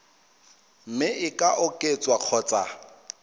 mme e ka oketswa kgotsa